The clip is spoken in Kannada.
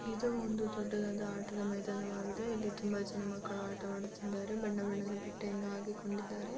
ಇದು ಒಂದು ದೊಡ್ಡದಾದ ಆಟದ ಮೈದಾನವಾಗಿದೆ ಇಲ್ಲಿ ತುಂಬಾ ಜನ ಮಕ್ಕಲು ಆಟವಾಡುತ್ತಿದ್ದಾರೆ ಬಣ್ಣದ ಬಟ್ಟೆಗಳನ್ನು ಹಾಕಿಕೊಂಡಿದ್ದಾರೆ.